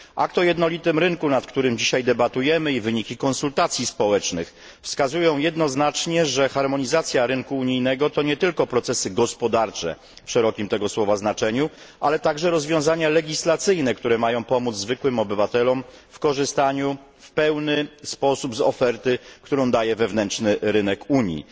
Akt o jednolitym rynku, nad którym dzisiaj debatujemy i wyniki konsultacji społecznych wskazują jednoznacznie, że harmonizacja rynku unijnego to nie tylko procesy gospodarcze w szerokim tego słowa znaczeniu, ale także rozwiązania legislacyjne, które mają pomóc zwykłym obywatelom w korzystaniu w pełny sposób z oferty, jaką daje wewnętrzny rynek Unii.